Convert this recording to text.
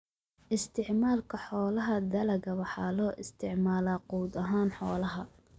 Isticmaalka Xoolaha Dalagga waxaa loo isticmaalaa quud ahaan xoolaha.